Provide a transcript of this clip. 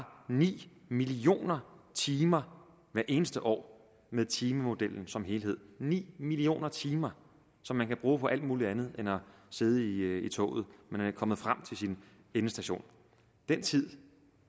ni million timer hvert eneste år med timemodellen som helhed det ni million timer som man kan bruge på alt muligt andet end at sidde i toget når man er kommet frem til sin endestation den tid